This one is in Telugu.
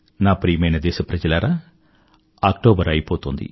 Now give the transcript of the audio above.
నా ప్రియమైన దేశప్రజలారా అక్టోబర్ అయిపోతోంది